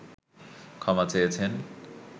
ক্ষমা চেয়েছেন